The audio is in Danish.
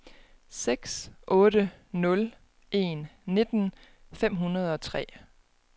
seks otte nul en nitten fem hundrede og tre